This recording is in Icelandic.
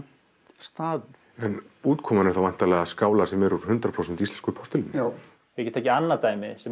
staðið en útkoman er þá væntanlega skálar sem eru úr hundrað prósent íslensku postulíni já ég get tekið annað dæmi sem